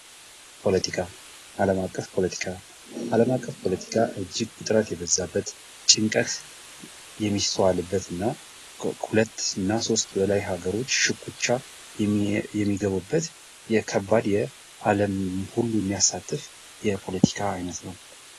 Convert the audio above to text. ፖለቲካ አለም አቀፍ ፖለቲካ እጅግ ውጥረት የበዛበት ጭንቀት የሚተዋለበትና ሁለትና ሦስት በላይ ሀገሮች ሽኩቻ የሚገቡበት የከባድ አለም ሁሉ የሚያሳተፍ የፖለቲካ አይነት ነው።